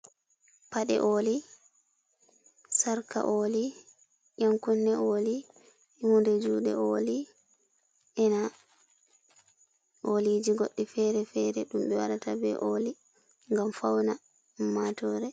paɗe oli, sarka oli, yankunne oli, hunde juɗe oli, ena oliji goɗɗi fere-fere ɗum ɓe waɗata be oli ngam fauna ummatore.